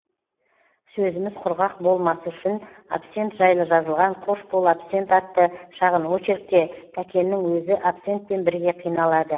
сөзіміз құрғақ болмасы үшін абсент жайлы жазылған қош бол абсент атты шағын очеркте тәкеннің өзі абсентпен бірге қиналады